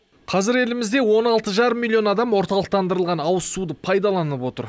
қазір елімізде он алты жарым миллион адам орталықтандырылған ауызсуды пайдаланып отыр